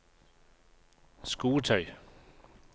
skotøy